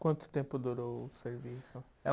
Quanto tempo durou o serviço?